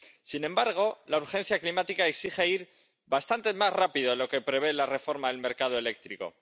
Sin embargo, la urgencia climática exige ir bastante más rápido de lo que prevé la reforma del mercado eléctrico